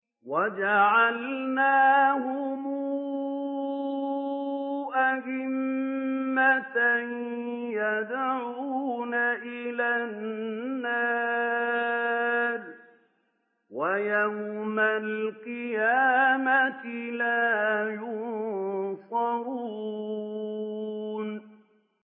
وَجَعَلْنَاهُمْ أَئِمَّةً يَدْعُونَ إِلَى النَّارِ ۖ وَيَوْمَ الْقِيَامَةِ لَا يُنصَرُونَ